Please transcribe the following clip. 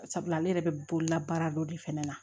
Sabula ale yɛrɛ bɛ bolola baara dɔ de fana na